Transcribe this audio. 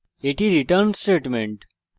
এটি return statement